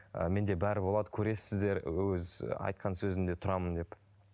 ы менде бәрі болады көресіздер ол кез айтқан сөзімде тұрамын деп